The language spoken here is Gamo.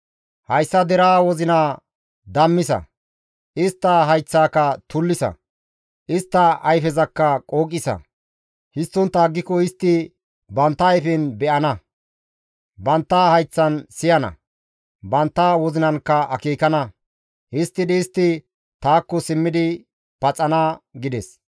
Hayssa deraa wozinaa dammisa; istta hayththaka tullisa; istta ayfezakka qooqisa; histtontta aggiko istti bantta ayfen be7ana; bantta hayththan siyana; bantta wozinankka akeekana; histtidi istti taakko simmidi paxana» gides.